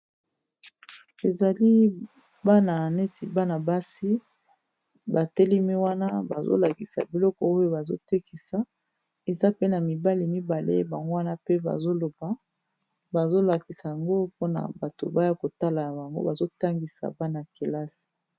Ezali bana neti bana basi ba telemi wana bazo lakisa biloko oyo bazo tekisa, eza pe na mibali mibale bango wana pe bazo loba bazo lakisa yango mpona bato baya kotala na bango bazo tangisa bana kelasi.